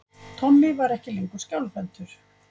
Tommi var ekki lengur skjálfhentur.